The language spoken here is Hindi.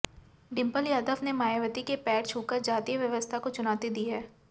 डिंपल यादव ने मायावती के पैर छूकर जाति व्यवस्था को चुनौती दी है